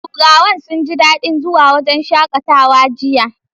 Turawan sun ji dadin zuwa wurin shakatawa jiya.